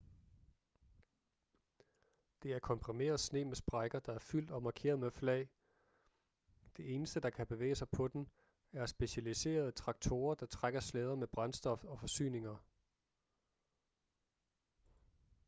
det er komprimeret sne med sprækker der er fyldt og markeret med flag det eneste der kan bevæge sig på den er specialiserede traktorer der trækker slæder med brændstof og forsyninger